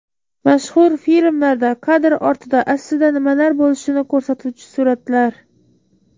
Mashhur filmlarda kadr ortida aslida nimalar bo‘lishini ko‘rsatuvchi suratlar .